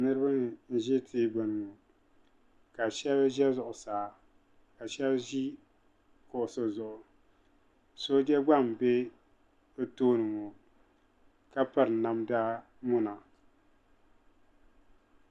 niriba n ʒɛ tigbani ŋɔka shɛba ʒɛ zuɣisaa ka shɛba ʒɛ kuɣisi zuɣ' soja gba n bɛ bi tooni ŋɔ ka pirinamdamona